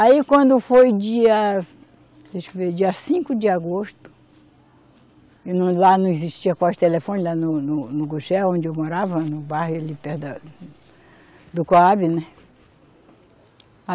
Aí quando foi dia, deixa eu ver, dia cinco de agosto, lá não existia quase telefone, lá no, no, no Guxé, onde eu morava, no bairro ali perto da, do Coabe, né?